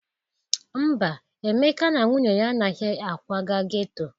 Mba, Emeka na nwunye ya anaghị akwaga geto.